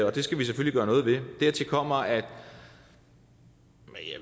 og det skal vi selvfølgelig gøre noget ved dertil kommer at